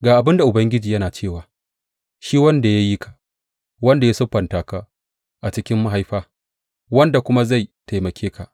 Ga abin da Ubangiji yana cewa, shi wanda ya yi ka, wanda ya siffanta ka a cikin mahaifa, wanda kuma zai taimake ka.